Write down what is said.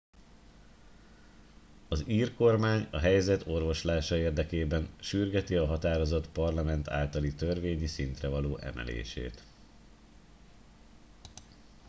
az ír kormány a helyzet orvoslása érdekében sürgeti a határozat parlament általi törvényi szintre való emelését